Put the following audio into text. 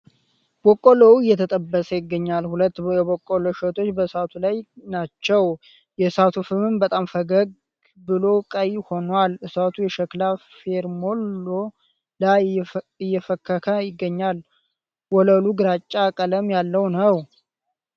በቆሎው እየተጠበሰ ይገኛል ። ሁለት የበቆሎ እሸቶች በእሳቱ ላይ ናቸው ። የእሳቱ ፍህም በጣም ፈገግ ብሎ ቀይ ሁኗል ። እሳቱ የሸክላ ፌርሜሎ ላይ እየፈከከ ይገኛል ። ወለሉ ግራጫ ቀለም ያለው ነው።